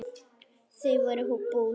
Þau voru bús.